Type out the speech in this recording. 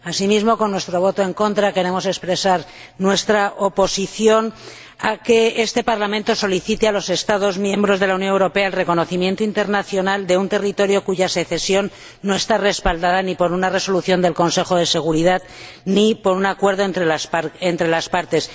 Asimismo, con nuestro voto en contra queremos expresar nuestra oposición a que este Parlamento solicite a los Estados miembros de la Unión Europea el reconocimiento internacional de un territorio cuya secesión no está respaldada ni por una resolución del Consejo de Seguridad ni por un acuerdo entre las partes.